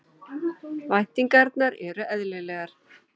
Væntingarnar eru eðlilegar